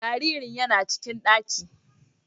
Jariri yana cikin ɗakin.